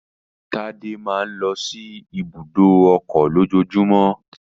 Tádé máa ń lọ sí ibùdó ọkọ̀ lójoojúmọ́